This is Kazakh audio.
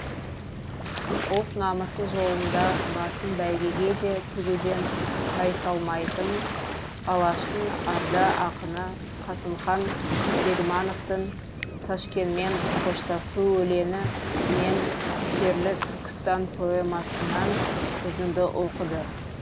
ұлт намысы жолында басын бәйгеге де тігуден тайсалмайтын алаштың арда ақыны қасымхан бегмановтың ташкенмен қоштасу өлеңі мен шерлі түркістан поэмасынан үзінді оқыды